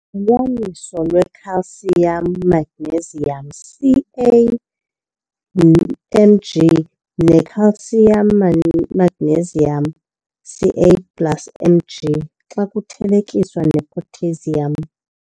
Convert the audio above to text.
Ulungelelwaniso Iwe-Calcium Magnesium, Ca - Mg, ne-Calcium Magnesium, Ca plus Mg, xa kuthelekiswa ne-Potassium.